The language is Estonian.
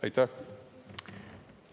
Aitäh!